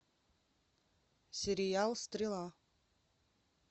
сериал стрела